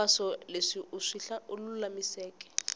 hinkwaswo leswi u swi lulamiseke